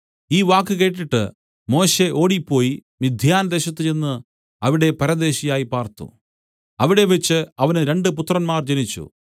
ഈ വാക്ക് കേട്ടിട്ട് മോശെ ഓടിപ്പോയി മിദ്യാൻദേശത്ത് ചെന്ന് അവിടെ പരദേശിയായി പാർത്തു അവിടെവച്ച് അവന് രണ്ടു പുത്രന്മാർ ജനിച്ചു